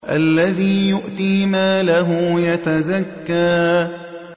الَّذِي يُؤْتِي مَالَهُ يَتَزَكَّىٰ